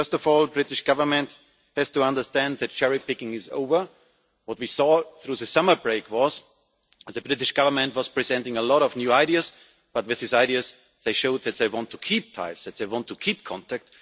First of all, the British Government has to understand that cherry picking is over. What we saw through the summer break was the British Government presenting a lot of new ideas, but with these ideas they showed that they want to keep ties, they want to keep contact.